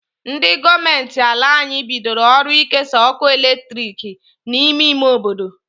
Ndi goomenti ala anyi bidoro ọrụ ikesa ọkụ latrik n'ime ime obodo..